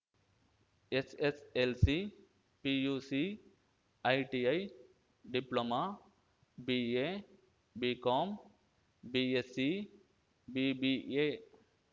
SSLC PUC ITI diploma BA BCom BSc BBA